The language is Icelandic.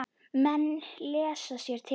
Menn lesa sér til.